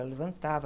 Ela levantava.